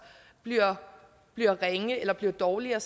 bliver bliver ringe eller dårligere